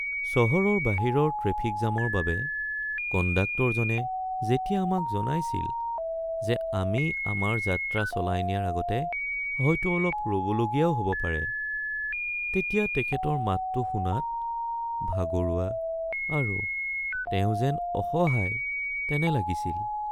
চহৰৰ বাহিৰৰ ট্ৰেফিক জামৰ বাবে কণ্ডাক্টৰজনে যেতিয়া আমাক জনাইছিল যে আমি আমাৰ যাত্ৰা চলাই নিয়াৰ আগতে হয়তো অলপ ৰ’বলগীয়াও হ’ব পাৰে তেতিয়া তেখেতৰ মাতটো শুনাত ভাগৰুৱা আৰু তেওঁ যেন অসহায় তেনে লাগিছিল।